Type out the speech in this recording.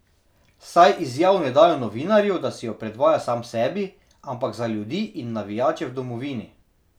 Saj izjav ne dajo novinarju, da si jo predvaja sam sebi, ampak za ljudi in navijače v domovini.